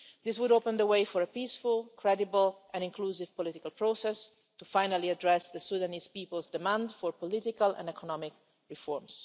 This would open the way for a peaceful, credible and inclusive political process to finally address the Sudanese people's demand for political and economic reforms.